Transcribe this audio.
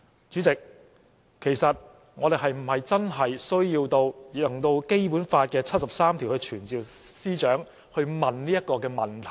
主席，其實我們是否真的需要引用《基本法》第七十三條來傳召司長來詢問這個問題？